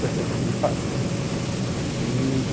Coisa curiosa.